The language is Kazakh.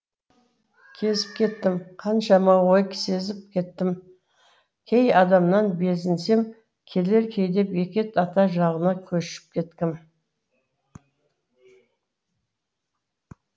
кезіп кеттім қаншама ой сезіп кеттім кей адамнан безінсем келер кейде бекет ата жағына көшіп кеткім